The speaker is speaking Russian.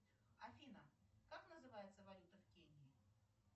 афина как называется валюта в кении